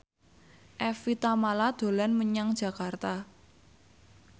Evie Tamala dolan menyang Jakarta